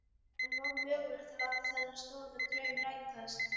En var mögulegt að láta þennan stóra draum rætast?